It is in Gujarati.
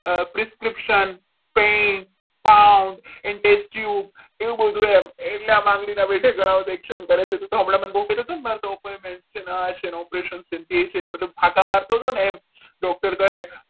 rescription paint count એવું બધું એમ એટલા માટે ના વિધે ગણાવે છે કે તું તો હમણાં બહુ કહેતો હતો ને એ point છે અને આ છે ને operation છે તે છે તે મતલબ આ કામ મારતું હતું ને doctor કહે.